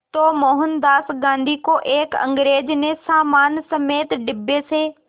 तो मोहनदास गांधी को एक अंग्रेज़ ने सामान समेत डिब्बे से